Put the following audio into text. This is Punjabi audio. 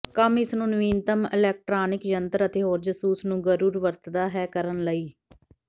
ਕੰਮ ਇਸ ਨੂੰ ਨਵੀਨਤਮ ਇਲੈਕਟ੍ਰਾਨਿਕ ਯੰਤਰ ਅਤੇ ਹੋਰ ਜਾਸੂਸ ਨੂੰ ਗੁਰੁਰ ਵਰਤਦਾ ਹੈ ਕਰਨ ਲਈ